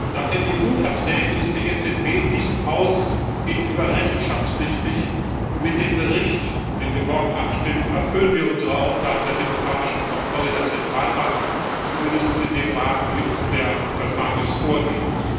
Nach den EU Verträgen ist die EZB diesem Haus gegenüber rechenschaftspflichtig, und mit dem Bericht, über den wir morgen abstimmen, erfüllen wir unsere Aufgabe der demokratischen Kontrolle der Zentralbank zumindest in dem Rahmen, den uns der Vertrag vorgibt.